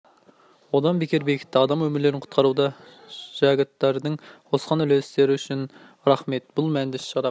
одан бетер бекітті адам өмірлерін құтқаруда жәгәттердің қосқан үлкен үлестері үшін рахмет бұл мәнді іс-шараға